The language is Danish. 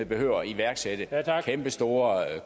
behøver at iværksætte kæmpestore